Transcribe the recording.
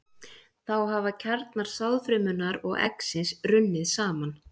Þá hafa kjarnar sáðfrumunnar og eggsins runnið saman.